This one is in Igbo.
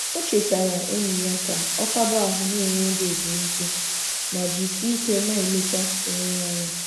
O chetara enyi ya ka ọ kaba ahụ na - enwe oge ezumike ma jisieike na - eleta onwe ya anya